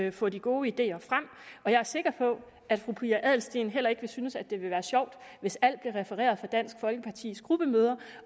og få de gode ideer frem jeg er sikker på at fru pia adelsteen heller ikke synes at det ville være sjovt hvis alt blev refereret fra dansk folkepartis gruppemøder